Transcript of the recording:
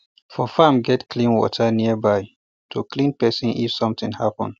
for farm get clean water nearby to clean person if something happen